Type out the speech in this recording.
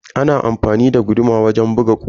Ana amfani da guduma wajen buga kusa.